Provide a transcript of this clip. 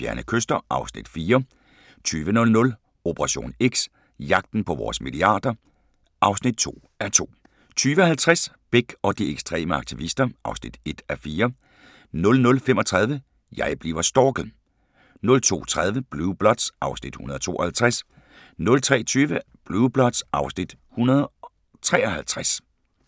14:35: Kurs mod fjerne kyster (Afs. 4) 20:00: Operation X: Jagten på vores milliarder (2:2) 20:50: Bech og de ekstreme aktivister (1:4) 00:35: Jeg bliver stalket 02:30: Blue Bloods (Afs. 152) 03:20: Blue Bloods (Afs. 153)